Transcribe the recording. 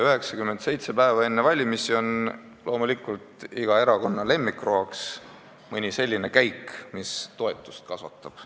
" 97 päeva enne valimisi on loomulikult iga erakonna lemmikroaks mõni selline käik, mis toetust kasvatab.